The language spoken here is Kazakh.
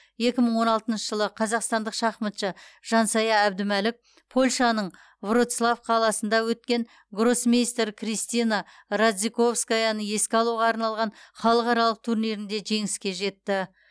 екі мың он алтыншы жылы қазақстандық шахматшы жансая әбдімәлік польшаның вроцлав қаласында өткен гроссмейстер кристина радзиковскаяны еске алуға арналған халықаралық турнирінде жеңіске жетті